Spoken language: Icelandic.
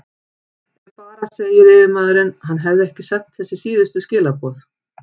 Ef bara segir yfirmaðurinn, hann hefði ekki sent þessi síðustu skilaboð.